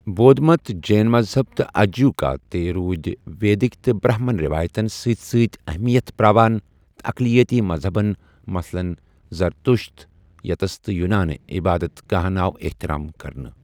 بود مت ، جین مذہب تہٕ اَجیٖوِکا تہِ روُدِ ویدِک تہٕ برٛہمن روایتن سٕتہِ سٕتہِ اہمیت پراوان تہٕ اَقلِیٲتی مذہَبن مثلن زرتٗشت یتس تہٕ یوُنٲنہِ عبادت گاہن آو احتِرام کرنہٕ۔